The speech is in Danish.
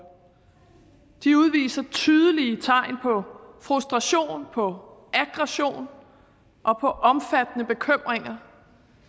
de udviser tydelige tegn på frustration på aggression og på omfattende bekymringer